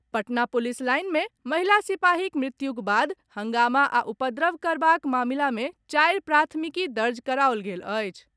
Patna police line मे महिला सिपाहीक मृत्युक बाद हंगामा आ उपद्रव करबाक मामिला मे चारि प्राथमिकी दर्ज कराओल गेल अछि।